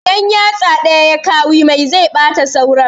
In yatsa ɗaya ya kawi mai zai ɓata sauran